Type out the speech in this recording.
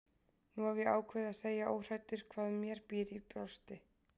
Nú hef ég ákveðið að segja óhræddur hvað mér býr í brjósti.